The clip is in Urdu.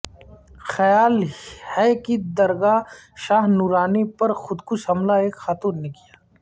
خیال ہے کہ درگاہ شاہ نورانی پر خودکش حملہ ایک خاتون نے کیا